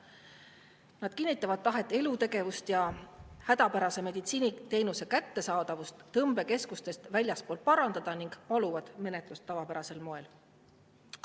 Nad kinnitavad tahet hädapärase meditsiiniteenuse kättesaadavust tõmbekeskustest väljaspool parandada ning paluvad menetlust tavapärasel moel.